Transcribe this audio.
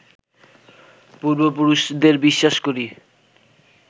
পূর্ব পুরুষদের বিশ্বাস করি